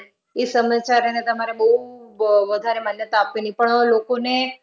ઈ સમાચારોને તમારે બઉ વધારે માન્યતા આપવી નહીં. પણ લોકોને